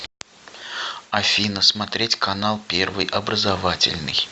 афина смотреть канал первый образовательный